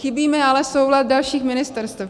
Chybí mi ale soulad dalších ministerstev.